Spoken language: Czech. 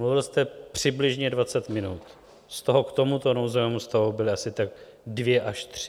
Mluvil jste přibližně 20 minut, z toho k tomuto nouzovému stavu byly asi tak dvě až tři.